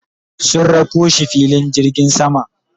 sun rako shi filin jirgin sama